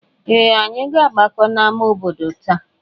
Ee! Anyị na-agbakọta n'ámá obodo taa.